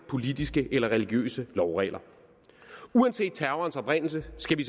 politiske eller religiøse lovregler uanset terrorens oprindelse skal vi